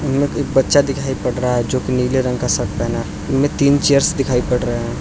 बच्चा दिखाई पड़ रहा है जो की नीले रंग का शर्ट पहना इनमें तीन चेयर्स दिखाई पड़ रहे हैं।